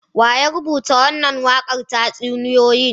Wa ya rubuta wannan waƙar tatsauniya?